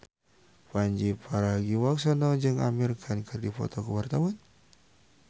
Pandji Pragiwaksono jeung Amir Khan keur dipoto ku wartawan